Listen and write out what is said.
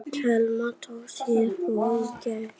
Telma Tómasson: Heimir hvað ætlar stjórnarandstaðan að gera?